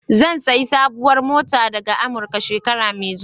Zan sayi sabuwar mota daga Amurika, shekara mai zuwa.